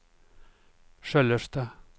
Sköllersta